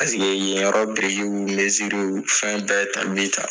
yen yɔrɔ birikiw w fɛn bɛɛ ta mi ta